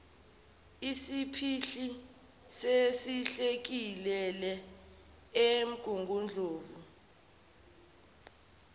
isiphihli senhlekelele emgungundlovu